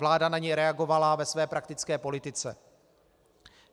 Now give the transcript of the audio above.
Vláda na něj reagovala ve své praktické politice.